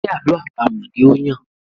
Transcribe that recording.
Ṣe àlọ́ àpamọ̀ ni ó Yàn?